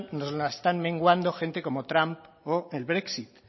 nos la están menguando gente como trump o el brexit